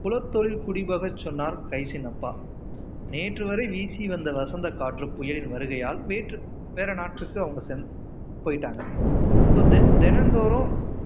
குலத்தொழில் குடிவகை சொன்னார் கைஸின் அப்பா நேற்று வரை வீசி வந்த வசந்த காற்று புயலின் வருகையால் வேற்று வேற நாட்டுக்கு அவங்க போய்ட்டாங்க ஷோ தினந்தோறும்